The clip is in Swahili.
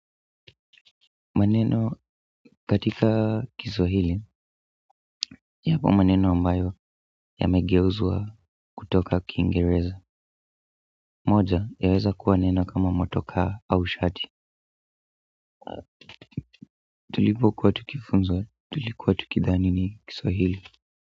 Maneno katika kiswahili yapo maneno ambayo yamegeuzua kutoka kiingereza moja yaweza kuwa neno kama motoka au shati tulipokuwa tukifunzwa tulikuwa tukidhani ni kiswahili.